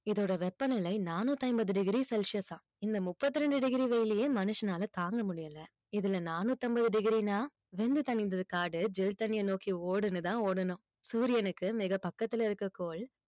இதோட வெப்பநிலை நானூத்தி ஐம்பது degree celsius ஆ இந்த முப்பத்தி ரெண்டு degree வெயிலையே மனுஷனால தாங்க முடியலை இதுல நானூத்தம்பது degree ன்னா வெந்து தணிந்தது காடு ஜில் தண்ணியை நோக்கி ஓடுன்னுதான் ஓடனும் சூரியனுக்கு மிக பக்கத்துல இருக்க கோள்